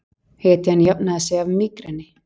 Hetjan jafnaði sig af mígreni